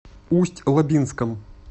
усть лабинском